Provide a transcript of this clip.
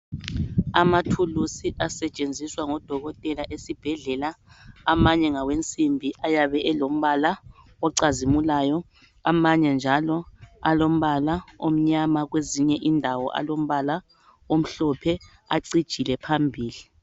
amathulusi asetshenziswa ngodokotela esibhedlela amanye ngawensimbi ayab elombala ocazimulayo amanye njalo alombala omnyama kwezinye indawo kwezinye indawo alombala omhlophe acijile phambili